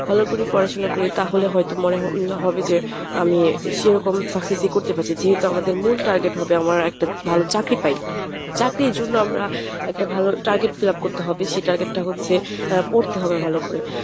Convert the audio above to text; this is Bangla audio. ভালো করে পড়াশুনা করি তাহলে হয়তো মনে হবে যে আমি সেরকম success ই করতে পারছি যেহেতু আমাদের মূল target হবে আমার একটা ভালো চাকরি পাই চাকরির জন্য আমরা একটা ভালো target fill up করতে হবে সেই target টা হচ্ছে আ পড়তে হবে ভালো করে।